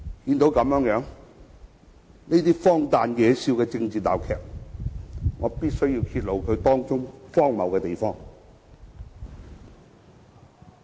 看到如此荒誕、惹笑的政治鬧劇，我必須揭露其中荒謬的地方。